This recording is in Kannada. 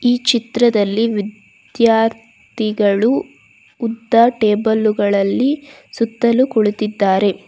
ಈ ಚಿತ್ರದಲ್ಲಿ ವಿದ್ಯಾ ರ್ಥಿಗಳು ಉದ್ದ ಟೇಬಲ್ಲುಗಳಲ್ಲಿ ಸುತ್ತಲು ಕುಳಿತಿದ್ದಾರೆ.